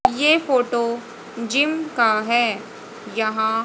ये photo gym का है यहां--